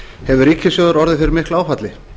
hefur ríkissjóður orðið fyrir miklu áfalli